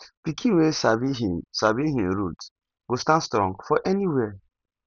pikin wey sabi him sabi him root go stand strong for anywhere